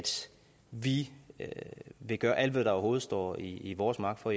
vi vil gøre alt hvad der overhovedet står i vores magt for